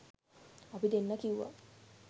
අපි දෙන්න කිව්වා